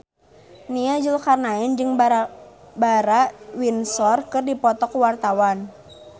Nia Zulkarnaen jeung Barbara Windsor keur dipoto ku wartawan